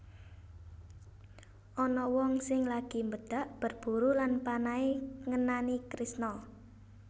Ana wong sing lagi mbedhag berburu lan panahe ngenani Kresna